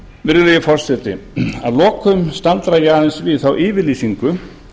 virðulegi forseti að lokum staldra ég aðeins við þá yfirlýsingu